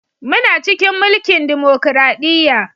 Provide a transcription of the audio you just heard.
Muna cikin mulkin dimokradiyya